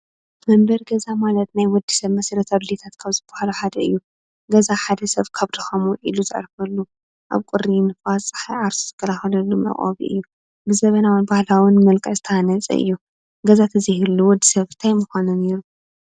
መንበሪ ገዛ ማለት ናይ ወዲ ሰብ መሰረታዊ ድሌታት ካብ ዝበሃሉ ሓደ እዩ። ገዛ ሓደሰብ ካብ ድካሙ ዊዒሉ ዘዕርፈሉ፣ ኣብ ቁሪ፣ ንፋስ ንፀሓይን ዓርሱ ዝከላከለሉ መዕቆቢ እዩ። ብዘመናዊ ን ብባህላዊን መልክዕ ዝተሃነፀ እዩ። ገዛ እንተዘይህሉ ወዲ ሰብ እንታይ ምኮነ ነይሩ?